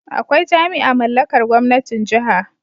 Akwai jami'a mallakar gwamnatin Jiha